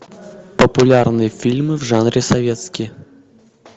популярные фильмы в жанре советские